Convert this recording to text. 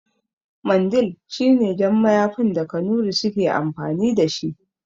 Mandil shine jan mayafin da kanurai suke amfani dashi